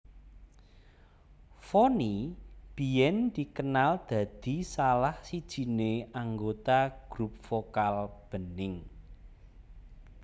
Vonny biyen dikenal dadi salah sijiné anggota grup vokal Bening